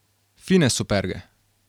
Fine superge.